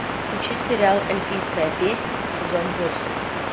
включи сериал эльфийская песнь сезон восемь